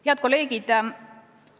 Head kolleegid!